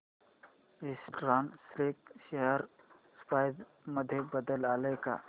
eastern Silk share price मध्ये बदल आलाय का